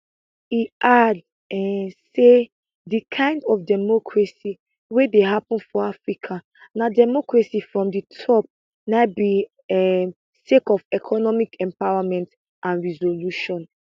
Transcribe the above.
e add um say di kind of democracy wey dey happun for africa na democracy from di top na be um sake of economic empowerment and revolution